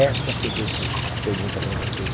Essa que eu deixo a pergunta para vocês.